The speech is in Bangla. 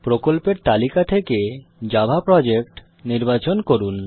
প্রকল্পের তালিকা থেকে জাভা প্রজেক্ট নির্বাচন করুন